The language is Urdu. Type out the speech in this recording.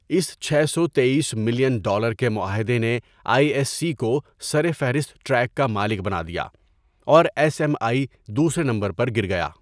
اس چھ سو تییس ملین ڈالر کے معاہدے نے آئی ایس سی کو سر فہرست ٹریک کا مالک بنا دیا، اور ایس ایم آئی دوسرے نمبر پر گر گیا۔